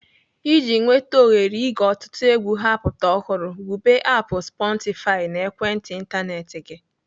Iji nweta ohere ige ọtụtụ egwu ha-apụta ọhụrụ, wube aapụ "sportify" na ekwentị ịntanetị gị.